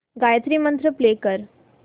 गायत्री मंत्र प्ले कर